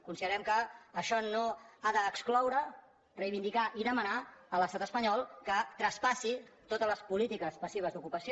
considerem que això no ha d’excloure reivindicar i demanar a l’estat espanyol que traspassi totes les polítiques passives d’ocupació